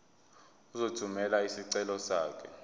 uzothumela isicelo sakho